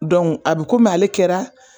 Dɔnku a bi komi ale kɛra